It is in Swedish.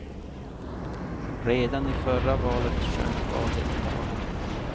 Redan i förra valet sjönk valdeltagandet.